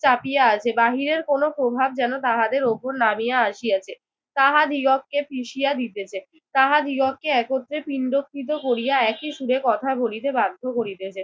চাপিয়া আছে। বাহিরের কোন প্রভাব যেন তাহাদের উপর নামিয়া আসিয়াছে, তাহাদিগকে পিষিয়া দিতেছে। তাহাদিগকে একত্রে পিন্ডকৃত করিয়া একই সুরে কথা বলিতে বাধ্য করিতেছে।